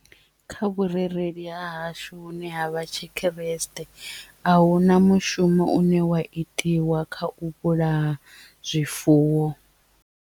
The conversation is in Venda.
Kha vhurereli ha hashu hune ha vha tshikhuresite ahuna mushumo une wa itiwa kha u vhulaya zwifuwo.